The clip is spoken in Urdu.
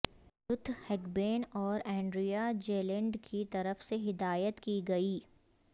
رتھ ہگبین اور اینڈریا جیلینڈ کی طرف سے ہدایت کی گئی